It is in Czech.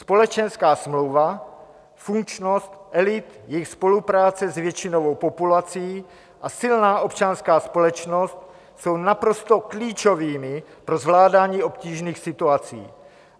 Společenská smlouva, funkčnost elit, jejich spolupráce s většinovou populací a silná občanská společnost jsou naprosto klíčovými pro zvládání obtížných situací.